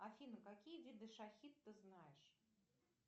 афина какие виды шахид ты знаешь